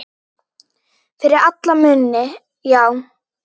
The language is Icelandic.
Fyrir alla muni, já.